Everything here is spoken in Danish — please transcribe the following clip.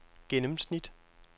gennemsnit